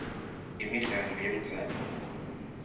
imidlalo yemdzabu